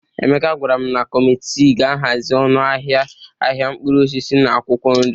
Emeka gwara m na kọmitii ga-ahazi ọnụ ahịa ahịa mkpụrụ osisi na akwụkwọ nri